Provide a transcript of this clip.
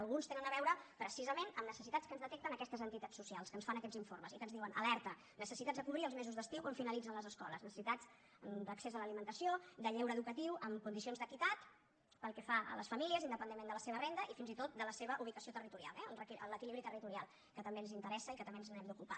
algunes tenen a veure precisament amb necessitats que ens detecten aquestes entitats socials que ens fan aquests informes i que ens diuen alerta necessitats a cobrir els mesos d’estiu quan finalitzen les escoles necessitats d’accés a l’alimentació de lleure educatiu en condicions d’equitat pel que fa a les famílies independentment de la seva renda i fins i tot de la seva ubicació territorial eh l’equilibri territorial que també ens interessa i que també ens n’hem d’ocupar